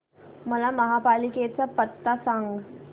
मला महापालिकेचा पत्ता सांग